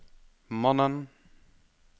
mannen